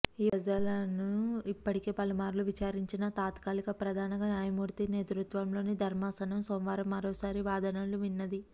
ఈ వ్యాజ్యాలను ఇప్పటికే పలుమార్లు విచారించిన తాత్కాలిక ప్రధాన న్యాయమూర్తి నేతృత్వంలోని ధర్మాసనం సోమవారం మరోసారి వాదనలు విన్నది